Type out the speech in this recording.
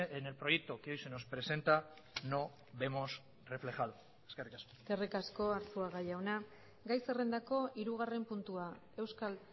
en el proyecto que hoy se nos presenta no vemos reflejado eskerrik asko eskerrik asko arzuaga jauna gai zerrendako hirugarren puntua euskal